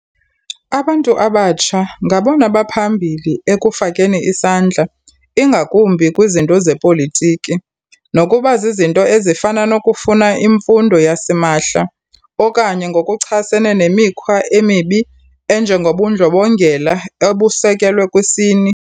Abantu abatsha ngabona baphambili ekufakeni isandla ingakumbi kwizinto zepolitiki, nokuba zizinto ezifana nokufuna imfundo yasimahla okanye ngokuchasene nemikhwa emibi enjengobundlobongela obusekelwe kwisini.